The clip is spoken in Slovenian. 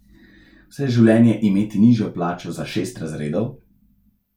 Vse življenje imeti nižjo plačo za šest razredov?